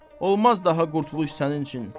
Olmaz daha qurtuluş sənin üçün.